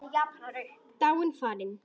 Dáin, farin.